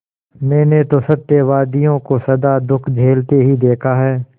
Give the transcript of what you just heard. मैंने तो सत्यवादियों को सदा दुःख झेलते ही देखा है